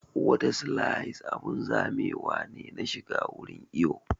Wata slide abun zamewa ne na shiga wurin iwo